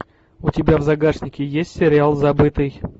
у тебя в загашнике есть сериал забытый